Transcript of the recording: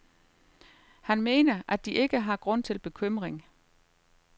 Han mener, at de ikke har grund til bekymring.